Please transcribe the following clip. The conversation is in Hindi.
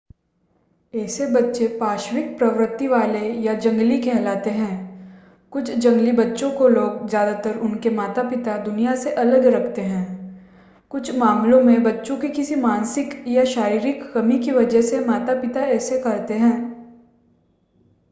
ऐसे बच्चे पाशविक प्रवृत्ति वाले” या जंगली कहलाते हैं. कुछ जंगली बच्चों को लोग ज़्यादातार उनके माता-पिता दुनिया से अलग रखते हैं. कुछ मामलों में बच्चों की किसी मानसिक या शारीरिक कमी की वजह से माता-पिता ऐसा करते हैं